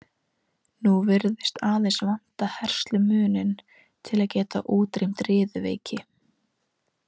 Nú virðist aðeins vanta herslumuninn til að geta útrýmt riðuveiki.